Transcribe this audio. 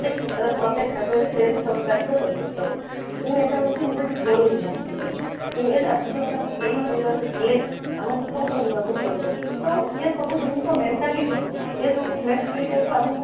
ପ୍ରତେକ କ୍ଷେତ୍ରରେ ପ୍ରତେକ କ୍ଷେତ୍ରରେ ସେ ସବୁ କାର୍ଯ୍ୟ କରି ପକେଇବ କିନ୍ତୁ ଏଇଟା ହଉଛି ନିଜ ପାଇଁ ଜରୁରୀ ଆବଶ୍ୟକତା କିନ୍ତୁ ଏ ଆବଶ୍ୟକତା କୁ ପୁରାଣ କରିବାକୁ ହେଲେ ଆମକୁ କ'ଣ କରିବାକୁ ପଡିବ ଆଉ ୟେ ସବୁ ଜିନିଷ mentality କୁ ଏଇ ଯାଉ mentality ଆମକୁ